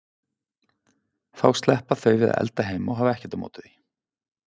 Þá sleppa þau við að elda heima og hafa ekkert á móti því.